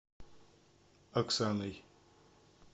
оксаной